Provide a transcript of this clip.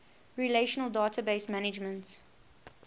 relational database management